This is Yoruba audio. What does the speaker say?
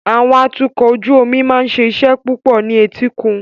Àwọn atukọ̀ ojú omi máa ń ṣe iṣẹ́ púpọ̀ ní etíkun.